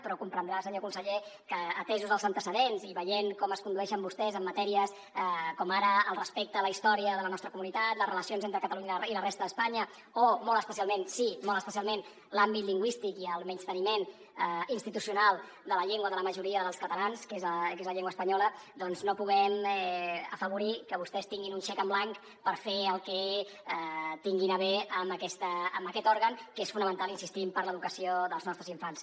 però deurà comprendre senyor conseller que atesos els antecedents i veient com es condueixen vostès en matèries com ara el respecte a la història de la nostra comunitat les relacions entre catalunya i la resta d’espanya o molt especialment sí molt especialment l’àmbit lingüístic i el menysteniment institucional de la llengua de la majoria dels catalans que és la llengua espanyola doncs no puguem afavorir que vostès tinguin un xec en blanc per fer el que tinguin a bé amb aquest òrgan que és fonamental hi insistim per a l’educació dels nostres infants